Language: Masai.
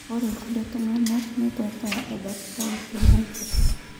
Ore kulie tunganak netwata ebakitae te Naiposha.